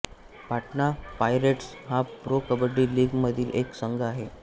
Patna Pirates हा pro kabaddi league मधील एक संघ आहे